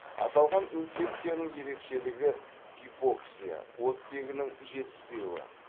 аталған инфекцияның ерекшелігі гипоксия оттегінің жетіспеуі